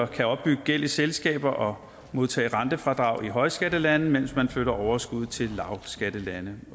kan opbygge gæld i selskaber og modtage rentefradrag i højskattelande mens man flytter overskuddet til lavskattelande